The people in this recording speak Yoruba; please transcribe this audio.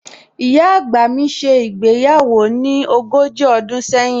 Ìyá àgbà mi ṣe ìgbéyàwó ní ogójì ọdún sẹ́yìn